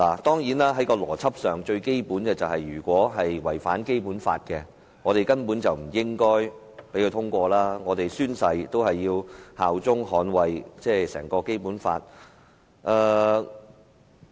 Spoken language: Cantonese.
當然，在邏輯上，最基本的是，如果這項《條例草案》違反《基本法》，我們根本不應該讓它通過，我們宣誓效忠和捍衞整套《基本法》。